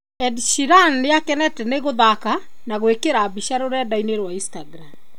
Ed Sheeran nĩakenete nĩ kũthaka na gwĩkĩra mbica rũrendainĩ rwa Instagram